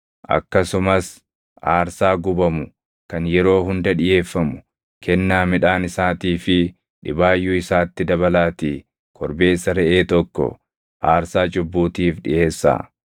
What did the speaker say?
Akkasumas aarsaa gubamu kan yeroo hunda dhiʼeeffamu, kennaa midhaan isaatii fi dhibaayyuu isaatti dabalaatii korbeessa reʼee tokko aarsaa cubbuutiif dhiʼeessaa.